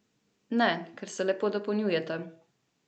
Ne, ker se lepo dopolnjujeta.